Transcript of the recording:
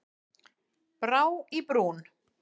Brá í brún